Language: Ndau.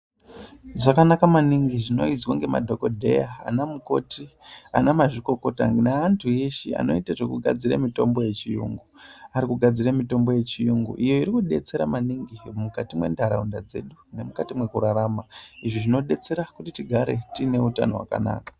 Zvakanaka maningi zvinoizwa ngemadhokodheya, anamukoti, anamazvikokota, neantu eshe anoite zvekugadzire mitombo yechiyungu. Ari kugadzire mitombo yechiyungu, iyo iri kudetsera maningi, mukati mwentaraunda dzedu nemukati mwekurarama. Izvi zvinodetsera kuti tigare tiine hutano hwakanaka.